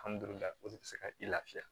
o de bɛ se ka i lafiya